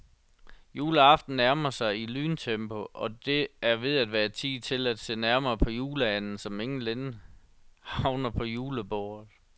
Juleaften nærmer sig i lyntempo, og det er ved at være tid til at se nærmere på juleanden, som inden længe havner på julebordet.